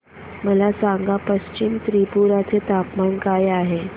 मला सांगा पश्चिम त्रिपुरा चे तापमान काय आहे